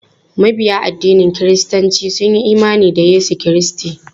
Mabiya addinin kiristanci sun yi imani da Yesu Kiristi.